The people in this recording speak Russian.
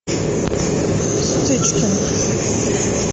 стычкин